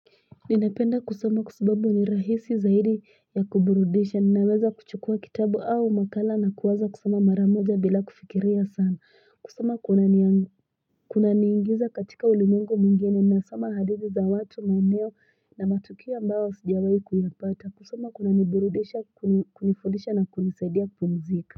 Ninapenda kusoma kwa sababu ni rahisi zaidi ya kuburudisha ninaweza kuchukua kitabu au makala na kuwaza kusoma maramoja bila kufikiria sana kusoma kuna niingiza katika ulimwengu mwingine nasoma hadithi za watu maeneo na matukio yambao sijawai kuyapata kusoma kunaniburudisha kunifudisha na kunisaidia kumzika.